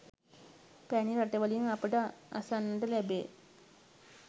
පැරණි රටවලින් අපට අසන්නට ලැබේ